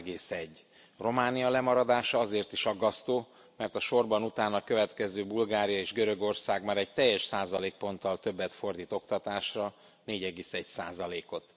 3,1. Románia lemaradása azért is aggasztó, mert a sorban utána következő Bulgária és Görögország már egy teljes százalékponttal többet fordít oktatásra, 4,1 százalékot.